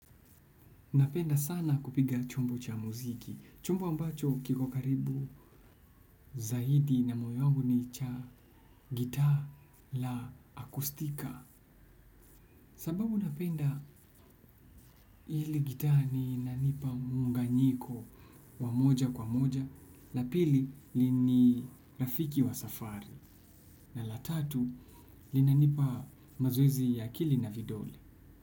Napenda sana kupiga chombo cha muziki. Chombo ambacho kiko karibu zaidi na moyo wangu ni cha gitaa la akostika. Sababu napenda hili gitaa ni inanipa muunganyiko wa moja kwa moja na pili ni rafiki wa safari na la tatu, linanipa mazoezi ya akili na vidole.